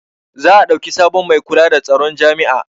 za a ɗauki sabon Mai kula da tsaron jami'a